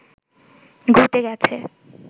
ঘটে গেছে